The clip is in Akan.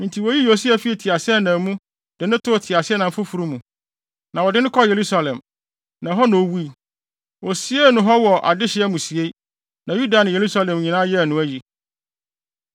Enti woyii Yosia fii ne teaseɛnam mu, de no too teaseɛnam foforo mu. Na wɔde no kɔɔ Yerusalem, na ɛhɔ na owui. Wosiee no hɔ wɔ adehye amusiei. Na Yuda ne Yerusalem nyinaa yɛɛ no ayi.